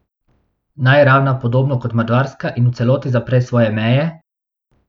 Naj ravna podobno kot Madžarska in v celoti zapre svoje meje?